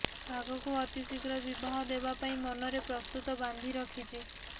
ଆଗକୁ ଅତିଶିଘ୍ର ବିବାହ ଦେବାପାଇଁ ମନରେ ପ୍ରସ୍ତୁତ ବାନ୍ଧି ରଖିଛି